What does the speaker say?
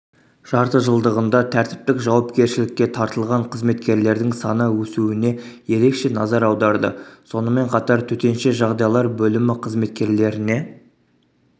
жартыжылдығында тәртіптік жауапкершілікке тартылған қызметкерлердің саны өсуне ерекше назар аударды сонымен қатар төтенше жағдайлар бөлімі қызметкерлеріне